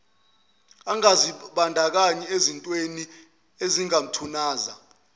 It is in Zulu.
angazibandakanyi ezintwemi ezingathunaza